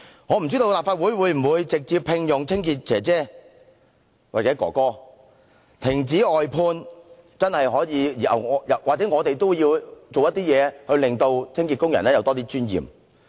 我不知道立法會會否直接聘用清潔工人，但或許我們也應停止外判或做點事令清潔工人有多點尊嚴。